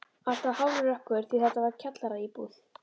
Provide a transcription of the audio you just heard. Alltaf hálfrökkur því þetta var kjallaraíbúð.